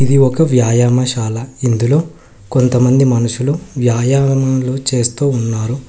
ఇది ఒక వ్యాయామశాల ఇందులో కొంతమంది మనుషులు వ్యాయామములు చేస్తూ ఉన్నారు.